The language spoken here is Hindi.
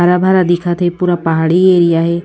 हरा भरा दिखत हे पूरा पहाड़ी एरिया हे।